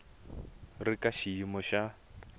wu ri ka xiyimo xa